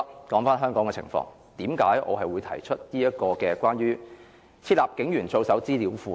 說回香港的情況，為甚麼我會提出關於"設立警員操守資料庫"的議案？